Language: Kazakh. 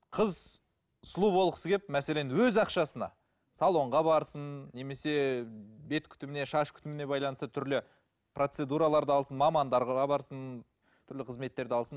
қыз сұлу болғысы келіп мәселен өз ақшасына салонға барсын немесе бет күтіміне шаш күтіміне байланысты түрлі процедураларды алсын мамандарға барсын түрлі қызметтерді алсын